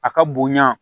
A ka bonya